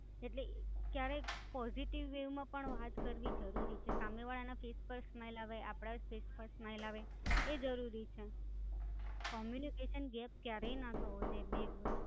એટલે, ક્યારેક, positive way માં પણ વાત કરવી જરૂરી છે. સામે વાળાના Face પર Smile આવે, આપણાંય ફેસ પર Smile આવે. એ જરૂરી છે. Communication gap ક્યારેય ન થવો જોય બેવ